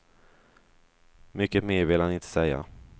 Mycket mer vill han inte säga.